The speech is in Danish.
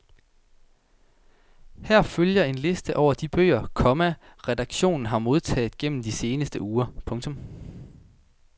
Her følger en liste over de bøger, komma redaktionen har modtaget gennem de seneste uger. punktum